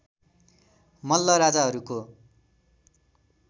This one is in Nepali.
मल्ल राजाहरूको